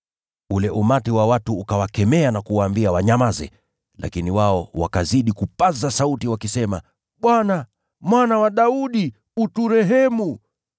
Ule umati wa watu ukawakemea na kuwaambia wanyamaze, lakini wao wakazidi kupaza sauti, wakisema, “Bwana, Mwana wa Daudi, tuhurumie.”